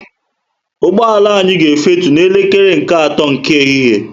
Ụgbọala anya ga efutu na elekere nke ato nke ehihie